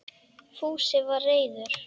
Fúsi var reiður.